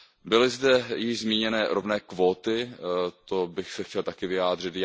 Byly zde již zmíněny rovné kvóty, to bych se chtěl také vyjádřit.